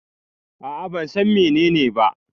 A'a ban San menene ba.